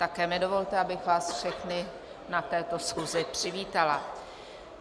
Také mi dovolte, abych vás všechny na této schůzi přivítala.